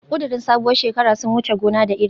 Kudirin sabuwar shekara sun wuce gona da iri